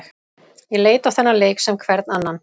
Ég leit á þennan leik sem hvern annan.